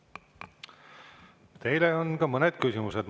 Teile on ka mõned küsimused.